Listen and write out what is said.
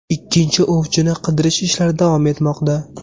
Ikkinchi ovchini qidirish ishlari davom etmoqda.